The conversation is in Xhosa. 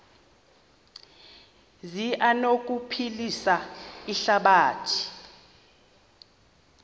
zi anokuphilisa ihlabathi